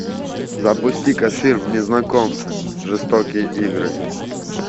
запусти ка фильм незнакомцы жестокие игры